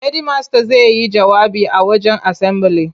Hedimasta zai yi jawabi a wajen asambili.